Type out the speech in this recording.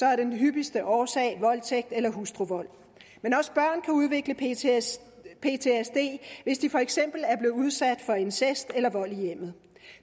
er den hyppigste årsag voldtægt eller hustruvold men også børn kan udvikle ptsd hvis de for eksempel er blevet udsat for incest eller vold i hjemmet